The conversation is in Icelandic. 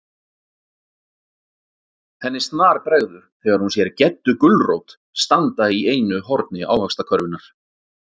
Henni snarbregður þegar hún sér GEDDU GULRÓT standa í einu horni ávaxtakörfunnar.